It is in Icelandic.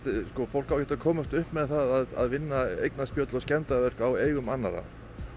fólk á ekkert að komast upp með það að vinna eignaspjöll og skemmdarverk á eigum annarra